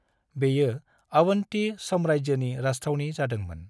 बेयो अवन्ती साम्राज्योनि राजथावनि जादोंमोन।